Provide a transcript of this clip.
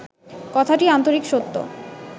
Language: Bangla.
কথাটি আন্তরিক সত্য